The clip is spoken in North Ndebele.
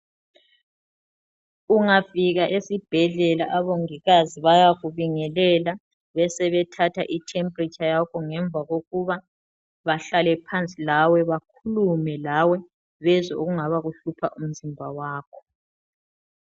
Ungafika esibhedlela abongikazi bayakubingelela besebe thatha i"temperature" yakho, ngemva kokuba bahlale phansi lawe bakhulume lawe bezwe okungaba kuhlupha umzimba wakho.